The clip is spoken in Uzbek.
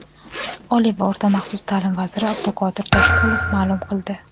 Oliy va oʼrta maxsus taʼlim vaziri Abduqodir Toshqulov maʼlum qildi:.